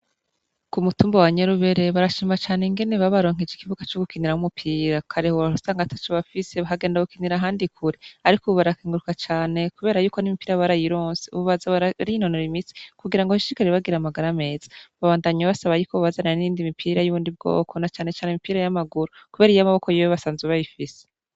Ku mutumba wa Nyarubere, barashima cane ingene babaronkeje ikibuga c'ugukiniramwo umupira. Kare wahora usanga ataco bafise bakagenda gukinira ahandi kure. Ariko ubu barakenguruka cane kubera yuko n'imipira barayironse. Ubu baza barinonora imitsi kugira ngo bashishikare bagira amagara meza. Babandanya basaba ko bobazanira n'iyindi mipira y'ubundi bwoko na cane cane imipira y'amaguru, kubera yuko iy'amaboko yoyo basanzwe bayifise.